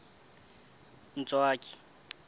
ntswaki